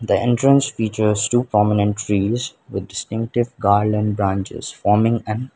the entrance features two prominent trees with distinctive garland branches forming an --